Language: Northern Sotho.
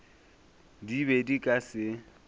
di be di ka se